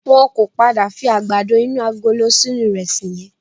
Wọ́n ò pọ̀ padà fi àgbàdo inú agolo sínú ìrẹsì yẹn